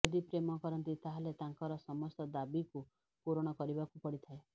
ଯଦି ପ୍ରେମ କରନ୍ତି ତାହାହେଲେ ତାଙ୍କର ସମସ୍ତ ଦାବିକୁ ପୁରଣ କରିବାକୁ ପଡ଼ିଥାଏ